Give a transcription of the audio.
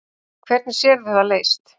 Hvernig sérðu það leyst?